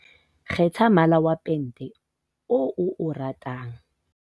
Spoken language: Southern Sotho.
kgetha mmala wa pente oo o o ratang